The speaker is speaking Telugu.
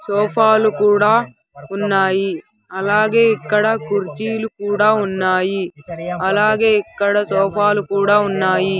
సోఫాలు కూడా ఉన్నాయి అలాగే ఇక్కడ కుర్చీలు కూడా ఉన్నాయి అలాగే ఇక్కడ సోఫాలు కూడా ఉన్నాయి.